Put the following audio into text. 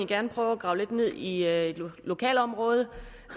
gerne prøve at grave lidt ned i lokalområdet